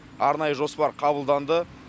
арнайы жоспар қабылданды